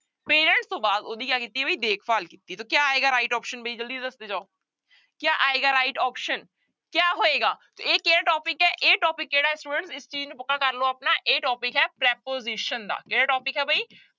Parent ਤੋਂ ਬਾਅਦ ਉਹਦੀ ਕਿਆ ਕੀਤੀ ਬਈ ਦੇਖਭਾਲ ਕੀਤੀ ਤਾਂ ਕਿਆ ਆਏਗਾ right option ਵੀ ਜ਼ਲਦੀ ਦੱਸਦੇ ਜਾਓ, ਕਿਆ ਆਏਗਾ right option ਕਿਆ ਹੋਏਗਾ, ਇਹ ਕਿਹੜਾ topic ਹੈ ਇਹ topic ਕਿਹੜਾ ਹੈ students ਇਸ ਚੀਜ਼ ਨੂੰ ਕਰ ਲਓ ਆਪਣਾ, ਇਹ topic ਹੈ preposition ਦਾ ਕਿਹੜਾ topic ਹੈ ਬਈ